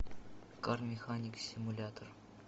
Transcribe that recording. кар механик симулятор